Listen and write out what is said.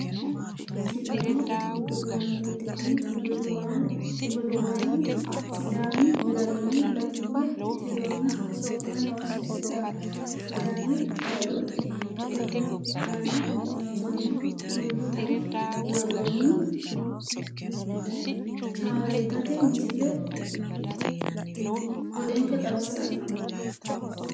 Sidaamu gudumaaleeti, kuni gudumaali sidaami garinni batinye tironna sokka noosi sidaami xaadooti. E'ote aana loonsoonn hulluuqi, worroonni shaafeetate misile budenke xawissanno.